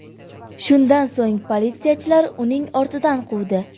Shundan so‘ng politsiyachilar uning ortidan quvdi.